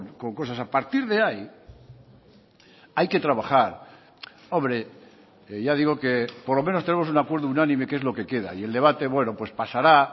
con cosas a partir de ahí hay que trabajar hombre ya digo que por lo menos tenemos un acuerdo unánime que es lo que queda y el debate bueno pues pasará